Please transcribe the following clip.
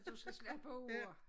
Du skal slappe af